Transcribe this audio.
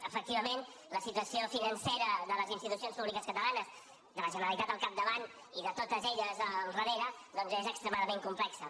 efectivament la situació financera de les institucions públiques catalanes de la generalitat al capdavant i de totes elles al darrere doncs és extremadament complexa